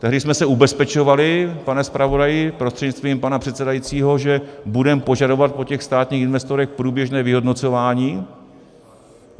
Tehdy jsme se ubezpečovali, pane zpravodaji prostřednictvím pana předsedajícího, že budeme požadovat po těch státních investorech průběžné vyhodnocování.